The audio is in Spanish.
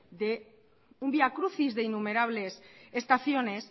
de un vía crucis de innumerables estaciones